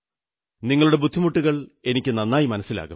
നിങ്ങളുടെ ബുദ്ധിമുട്ടുകൾ എനിക്കു നന്നായി മനസ്സിലാകും